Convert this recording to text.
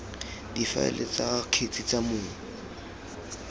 difaele tsa kgetse tsa mong